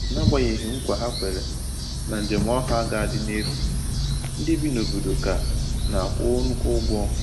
N'agbanyeghị nkwa ha kwèrè na njem ọha ga-adị n’efu, ndị bi n’obodo ka na-akwụ nnukwu ụgwọ